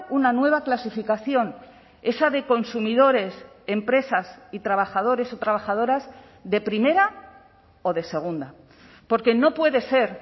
una nueva clasificación esa de consumidores empresas y trabajadores o trabajadoras de primera o de segunda porque no puede ser